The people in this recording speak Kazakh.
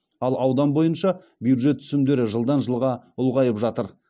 ал аудан бойынша бюджет түсімдері жылдан жылға ұлғайып жатыр